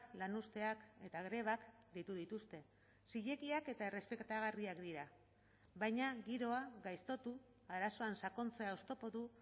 lanuzteak eta grebak deitu dituzte zilegiak eta errespetagarriak dira baina giroa gaiztotu arazoan sakontzea oztopotu